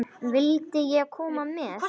Vildi ég koma með?